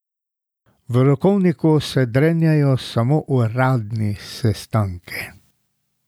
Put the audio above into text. V rokovniku se drenjajo samo uradni sestanki.